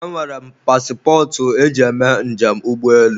e nwere m pasịpọtụ e ji eme njem ụgbọelu